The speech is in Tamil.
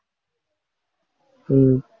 உம்